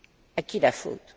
À qui la faute?